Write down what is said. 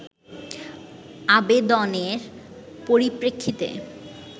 আবেদনের পরিপ্রেক্ষিতে